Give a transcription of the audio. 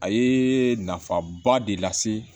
A ye nafaba de lase